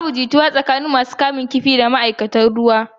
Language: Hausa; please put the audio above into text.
Babu jituwa tsakanin masu kamun kifi da ma'aikatan jirgin ruwan.